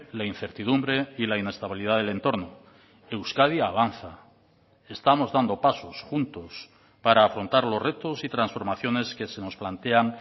la incertidumbre y la inestabilidad del entorno euskadi avanza estamos dando pasos juntos para afrontar los retos y transformaciones que se nos plantean